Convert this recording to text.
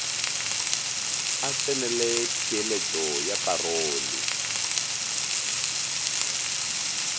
a tsenele theeletšo ya parole